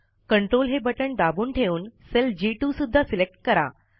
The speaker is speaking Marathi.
Ctrl हे बटण दाबून ठेवून सेल जी2 सुध्दा सिलेक्ट करा